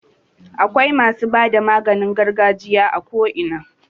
Akwai masu bada maganin gargajiya a ko ina.